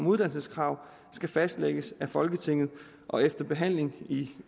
uddannelseskrav skal fastlægges af folketinget efter behandling i